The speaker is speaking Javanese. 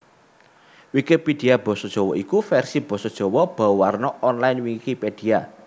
Wikipedia basa Jawa iku vèrsi basa Jawa bauwarna online Wikipedia